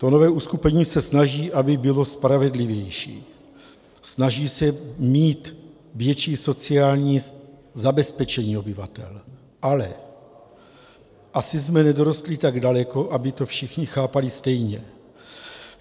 To nové uskupení se snaží, aby bylo spravedlivější, snaží se mít větší sociální zabezpečení obyvatel, ale asi jsme nedorostli tak daleko, aby to všichni chápali stejně.